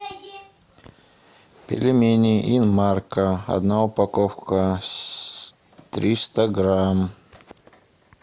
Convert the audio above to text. пельмени инмарко одна упаковка триста грамм